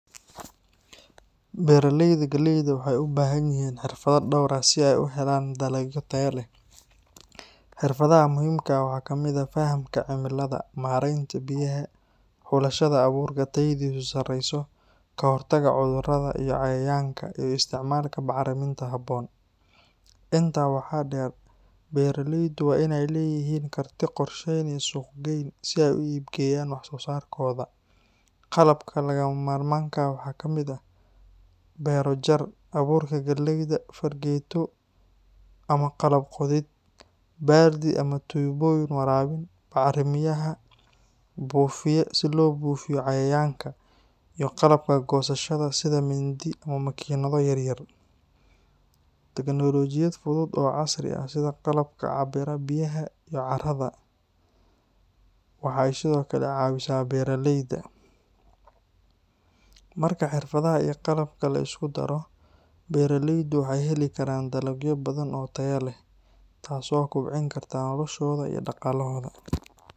Beeraleyda galleyda waxay u baahan yihiin xirfado dhowr ah si ay u helaan dalag tayo leh. Xirfadaha muhiimka ah waxaa ka mid ah: fahamka cimilada, maaraynta biyaha, xulashada abuurka tayadiisu sarreyso, ka hortagga cudurrada iyo cayayaanka, iyo isticmaalka bacriminta habboon. Intaa waxaa dheer, beeraleydu waa inay leeyihiin karti qorsheyn iyo suuq-geyn si ay u iib geeyaan wax-soosaarkooda. Qalabka lagama maarmaanka ah waxaa ka mid ah: beero-jar, abuurka galleyda, fargeeto ama qalab qodid, baaldi ama tuubooyin waraabin, bacrimiyaha, buufiye si loo buufiyo cayayaanka, iyo qalabka goosashada sida mindi ama makiinado yar yar. Teknolojiyad fudud oo casri ah sida qalabka cabbira biyaha iyo carrada waxay sidoo kale caawisaa beeraleyda. Marka xirfadaha iyo qalabka la isku daro, beeraleydu waxay heli karaan dalagyo badan oo tayo leh, taasoo kobcin karta noloshooda iyo dhaqaalahooda.